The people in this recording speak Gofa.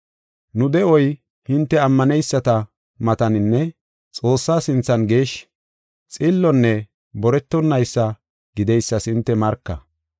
Nu de7oy hinte ammaneyisata mataninne Xoossaa sinthan geeshshi, xillonne boretonaysa gideysas hinte marka.